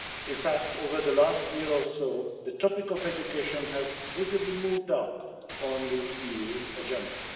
In fact, over the last year or so the topic of education has visibly moved up on the EU's agenda.